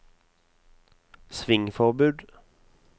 svingforbud